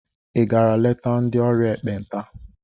Ị gara leta ndị ọrịa ekpenta?